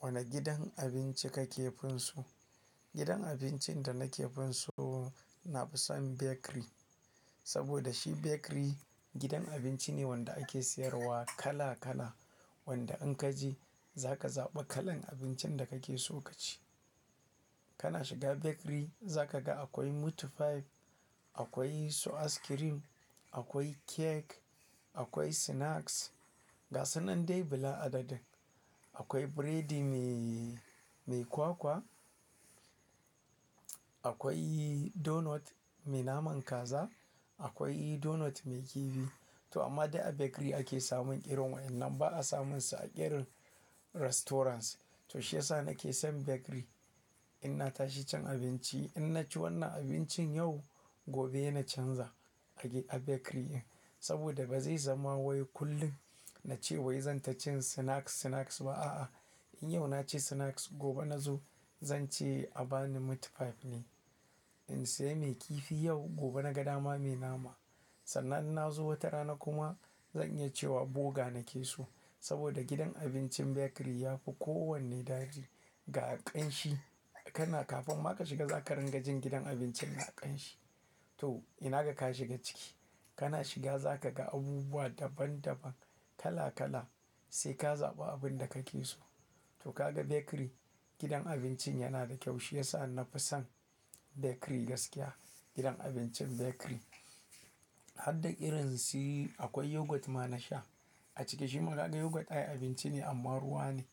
Wane gidan abinci kake fin so? Gidan abincin da nake finso, na fi son bakery. Saboda shi bakery gidan abinci ne wanda ake siyarwa kala kala. Wanda in ka je za ka zaɓa kalan abincin da ka ke so ka ci. Kana shiga bakery za ka ga akwai meat pie, akwai su ice cream, akwai cake, akwai snacks. Ga sunan dai bila adadi. Akwai burodi me, mai kwakwa, akwai donut mai naman kaza, akwai donut mai kifi to amma dai a bakery ake samun ƙirin wa'inan ba a samunsa a irin restaurants. To shi ya sa na ke son bakery Inna tashi cin abinci, in na ci wannan abincin yau, gobe na canza a bakery in. Saboda ba zai zama wai kullum na ce wai zan ta cin snacks, snacks ba a'a In yau na ci snacks, gobe nazo zan ce a ba ni meat pie ne. In sayi mai kifi yau, gobe na ga dama mai nama. Sannan na zo wata rana kuma zan iya cewa burger na ke so. Saboda gidan abincin bakery ya fi kowanne dadi Ga ƙanshi, kana kafin ma ka shiga za ka ringa jin gidan abincin na ƙanshi. To ina ga ka shiga ciki, kana shiga za ka ga abubuwa daban daban, kala kala sai ka zaɓa abin da ka ke so. To ka ga bakery gidan abincin yana da kyau shi ya sa na fi son bakery gaskiya. Gidan abincin bakery. Har da irin si akwai yogurt ma na sha. A cike shi ma ka ga yogurt ai abinci ne amma ruwa ne.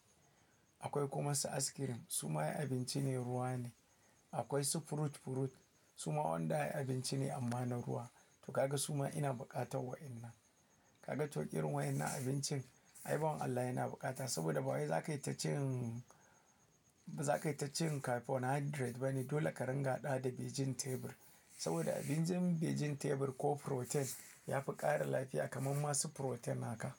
Akwai kuma su ice cream su ma abinci ne ruwa ne. Akwai su fruit, fruit su ma wanda abinci ne amma na ruwa to ka ga su ma ina buƙatar wa'inan. Ka ga to irin wa'inan abincin, ai bawan Allah yana bukata. Saboda ba wai za ka yi ta cin, za ka yi ta cin carbohydrate bane. Dole ka ringa haɗa wa vegetable. Saboda abincin begin tebur ko protein ya fi ƙara lafiya kamar masu protein haka.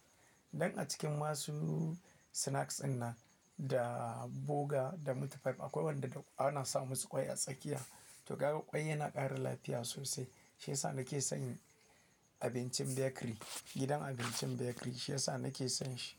Dan a cikin masu snacks in na da burger da meat pie akwai wanda ana samusu ƙwai a tsakiya. To ka ga ƙwai yana ƙara lafiya sosai. Shi ya sa na ke son abincin bakery. Gidan abincin bakery shi yasa na ke son shi.